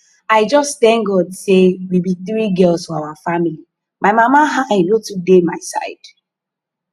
i just thank god say we be three girls for our family my mama eye no too dey my side